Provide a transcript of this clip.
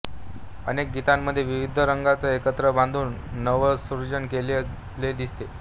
अनेक गीतांमध्ये विविध रागांना एकत्र बांधून नवसृजन केलेले दिसते